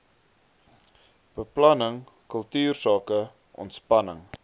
beplanning kultuursake ontspanning